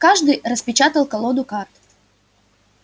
каждый распечатал колоду карт